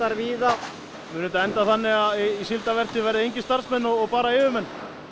víða mun þetta enda þannig að í síldarvertíð verði engir starfsmenn og bara yfirmenn